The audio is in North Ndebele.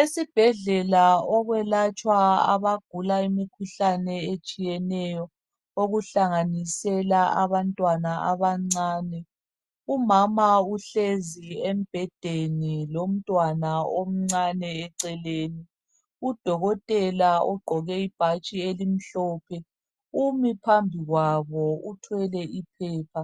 Esibhedlela okwelatshwa abagula imkhuhlane etshiyeneyo okuhlanganisela abantwana abancane. Umama uhlezi embhedeni lomntwana omncane eceleni. Udokotela ugqoke ibhatshi elimhlophe Umi phambi kwabo uthwele iphepha.